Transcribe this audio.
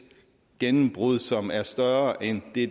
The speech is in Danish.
gennembrud som er større end det